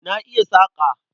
Na iya saƙa.